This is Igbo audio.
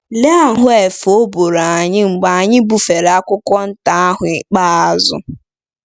Lee ahụ́ efe ọ bụụrụ anyị mgbe anyị bufere akwụkwọ nta ahụ ikpeazụ!